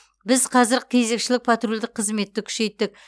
біз қазір кезекшілік патрульдік қызметті күшейттік